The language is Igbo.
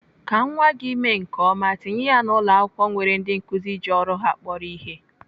Ka nwa gị mee nke ọma, tinye ya na ụlọakwụkwọ nwere ndị nkụzi ji ọrụ ha kporo ihe.